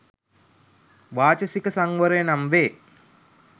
වාචසික සංවරය නම් වේ.